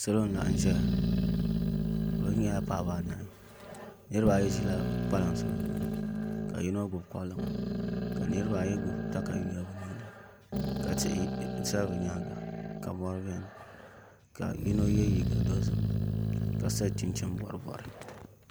Salo n laɣam ʒɛya bi mii nyɛla paɣaba anahi niraba ayi ʒirila kpalansi bi zuɣu ni ka yino gbubi kpalaŋa ka niraba ayi gbubi katalɛm ka tihi ʒɛ bi nyaanga ka mori biɛni ka yino yɛ liiga dozim ka so chinchin bori bori